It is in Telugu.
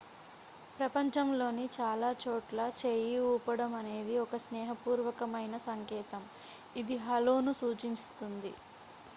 "ప్రపంచంలోని చాలా చోట్ల చేయి ఊపడం అనేది ఒక స్నేహపూర్వకమైన సంకేతం ఇది "హలో""ను సూచిస్తుంది.